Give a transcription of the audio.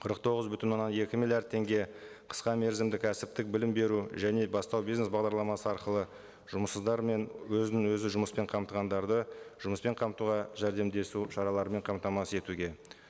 қырық тоғыз бүтін оннан екі миллиард теңге қысқа мерзімді кәсіптік білім беру және бастау бизнес бағдарламасы арқылы жұмыссыздар мен өзін өзі жұмыспен қамтығандарды жұмыспен қамтуға жәрдемдесу шараларымен қамтамасыз етуге